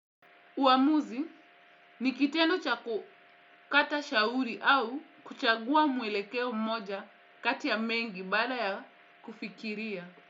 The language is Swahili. Uamuzi ni kitendo cha kukata shauri au kuchagua mwelekeo mmoja kati ya mengi baada ya kufikiria.